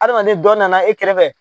Adamaden dɔ nana e kɛrɛfɛ.